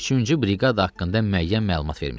Üçüncü briqada haqqında müəyyən məlumat vermişəm.